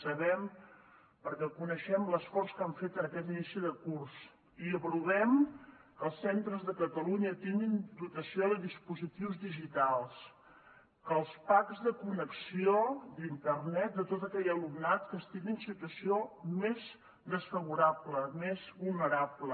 sabem perquè coneixem l’esforç que han fet en aquest inici de curs i aprovem que els centres de catalunya tinguin dotació de dispositius digitals que els packs de connexió d’internet de tot aquell alumnat que estigui en situació més desfavorable més vulnerable